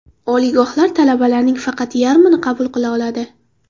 Oliygohlar talabalarning faqat yarmini qabul qila oladi.